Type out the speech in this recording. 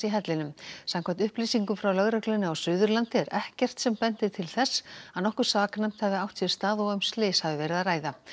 hellinum samkvæmt upplýsingum frá lögreglunni á Suðurlandi er ekkert sem bendir til þess að nokkuð saknæmt hafi átt sér stað og um slys hafi verið að ræða